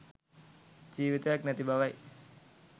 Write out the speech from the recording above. ජීවිතයක් නැති බවයි.